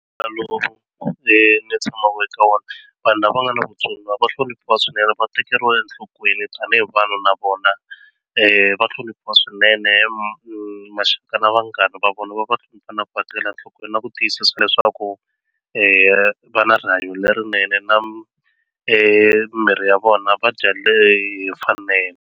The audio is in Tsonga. Lowu ni tshamaka eka wona vanhu lava nga na vutsoniwa va hloniphiwa swinene va tekeriwa enhlokweni tanihi vanhu na vona va hloniphiwa swinene maxaka na vanghana va vona va va va tekela nhlokweni na ku tiyisisa leswaku va na rihanyo lerinene na mimiri ya vona va dya leyi hi mfanelo.